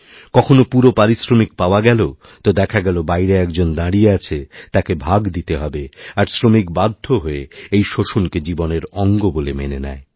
কখনও পুরোপারিশ্রমিক পাওয়া গেল তো দেখা গেল বাইরে একজন দাঁড়িয়ে আছে তাকে ভাগ দিতে হবে আরশ্রমিক বাধ্য হয়ে এই শোষণকে জীবনের অঙ্গ বলে মেনে নেয়